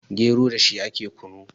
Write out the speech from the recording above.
gero da shi ake kunu